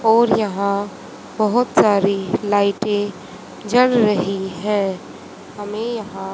और यहां बहोत सारी लाइटे जल रही है हमें यहां--